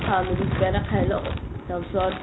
খাও কিবা এটা খাই লও তাৰপিছত